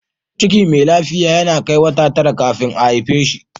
Ciki mai lafiya yana kai wata tara kafin ta haife shi.